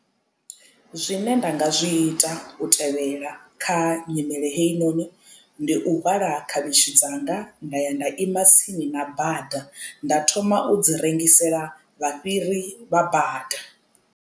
Zwine nda nga zwi ita u tevhela kha nyimele heyi noni ndi u hwala khavhishi dzanga nda ya nda ima tsini na bada nda thoma u dzi rengisela vha fhiri vha bada.